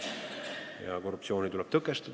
Ja korruptsiooni tuleb tõkestada.